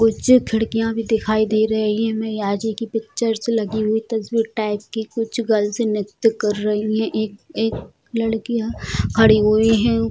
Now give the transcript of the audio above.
कुछ खिड़किया भी दखाई दे रही हैं में आज ही की पिचर्स लगी हुई तस्वीर टाइप की कुछ गर्ल्स नृत्य कर रहीं हैं एक एक लड़की हां खड़ी हुई हैं उ --